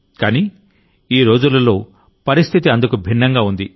కానీఈరోజులలో పరిస్థితి అందుకు భిన్నంగా ఉంది